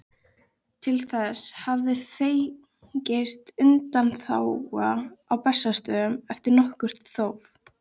Til þess hafði fengist undanþága á Bessastöðum eftir nokkurt þóf.